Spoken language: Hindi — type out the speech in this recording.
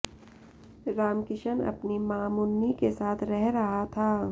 रामकिशन अपनी मां मुन्नी के साथ रह रहा था